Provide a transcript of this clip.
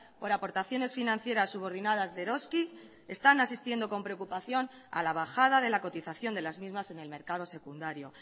por aportaciones financieras subordinadas de eroski están asistiendo con preocupación a la bajada de la cotización de las mismas en el mercado secundario